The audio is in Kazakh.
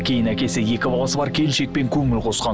кейін әкесі екі баласы бар келіншекпен көңіл қосқан